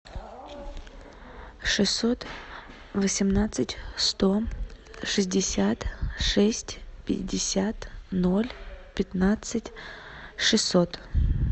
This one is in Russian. шестьсот восемнадцать сто шестьдесят шесть пятьдесят ноль пятнадцать шестьсот